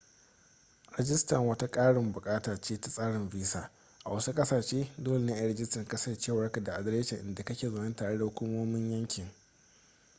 rajista wata ƙarin buƙata ce ta tsarin visa a wasu ƙasashe dole ne a yi rajistar kasancewarka da adireshin inda kake zaune tare da hukumomin yankin